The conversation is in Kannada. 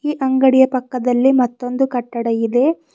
ಅಂಗಡಿಯ ಪಕ್ಕದಲ್ಲಿ ಮತ್ತೊಂದು ಕಟ್ಟಡ ಇದೆ.